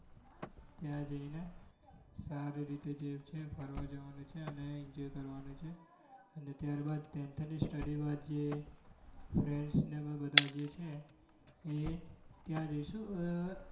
ત્યાં જઈને સારી રીતે જે છે ફરવા જવાનું છે અને enjoy કરવાનું છે અને ત્યારબાદ તે તેની tenth study બાદ જે friends ને અમે બધા જે છે એ ત્યાં જઈશું.